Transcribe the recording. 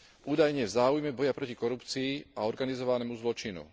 Údajne v záujme boja proti korupcii a organizovanému zločinu.